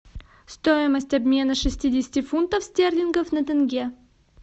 стоимость обмена шестидесяти фунтов стерлингов на тенге